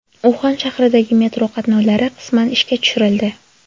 Uxan shahridagi metro qatnovlari qisman ishga tushirildi.